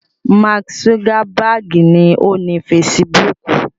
Máàkì zugabaagi ni ó ni fesibúùkù